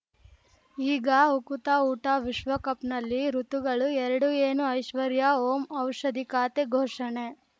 ಈಗ ಉಕುತ ಊಟ ವಿಶ್ವಕಪ್‌ನಲ್ಲಿ ಋತುಗಳು ಎರಡು ಏನು ಐಶ್ವರ್ಯಾ ಓಂ ಔಷಧಿ ಖಾತೆ ಘೋಷಣೆ